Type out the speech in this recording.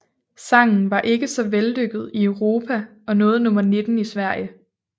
Sangen var ikke så vellykket i Europa og nåede nummer 19 i Sverige